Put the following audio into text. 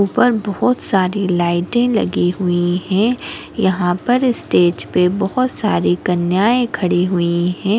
ऊपर बहुत सारी लाइटे लगी हुई है यहाँ पर स्टेज पे बहुत सारे कन्याये खड़ी हुई है।